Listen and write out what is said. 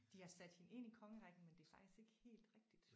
De har sat hende ind i kongerækken men det er faktisk ikke helt rigtigt